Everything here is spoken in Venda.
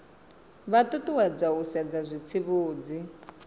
vha ṱuṱuwedzwa u sedza zwitsivhudzi